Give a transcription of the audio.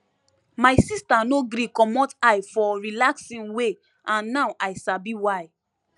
my sister no gree commot eye for relaxing way and now i sabi why